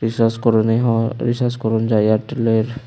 Recharge করনি হওয়া recharge করন যায় এয়ারটেলের।